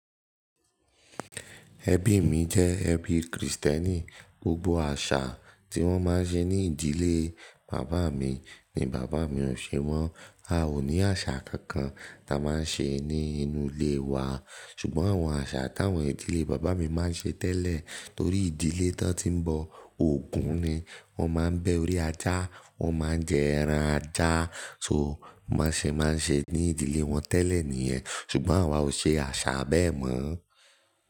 Ẹbí mi jẹ́ ẹbí kìrìsítẹ́nì, gbogbo àṣà tí wọ́n máa ń ṣe ní ìdílé bàbá mi ni bàbá mi ò ṣe mo. A ò ní àṣà kankan tá a máa ń ṣe ní inú ilé wa. Ṣùgbọ́n àwọn àṣà táwọn ìdílé bàbá mi máa ń ṣe tẹ́lẹ̀ torí ìdílé tán tí ń bọ ògún ni wọ́n máa ń bẹ orí ajá, wọ́n máa ń jẹ ẹran ajá, so bọ́n ṣẹ́ máa ń ṣe ní ìdílé wọn tẹ́lẹ̀ nìyẹn. Ṣùgbọ́n àwa ò ṣe àṣà bẹ́ẹ̀ mọ́